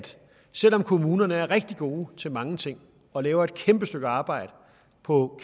selv om kommunerne er rigtig gode til mange ting og laver et kæmpe stykke arbejde på